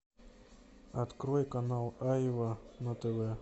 открой канал айва на тв